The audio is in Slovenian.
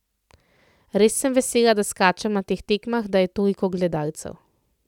Res sem vesela, da skačem na teh tekmah, da je toliko gledalcev.